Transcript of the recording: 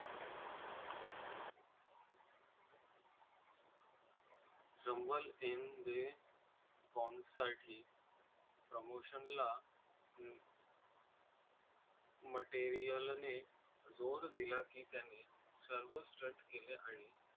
Chambal in the promotion ला हम्म. material नी जोर दिला की त्यांनी सर्व stunt केले आहे.